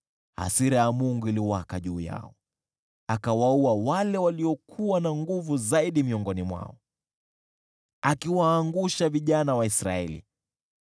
hasira ya Mungu ikawaka juu yao, akawaua wale waliokuwa na nguvu zaidi miongoni mwao, akiwaangusha vijana wa Israeli.